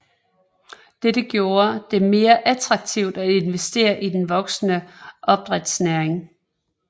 Dette gjorde det mere attraktivt at investere i den voksende opdrætsnæring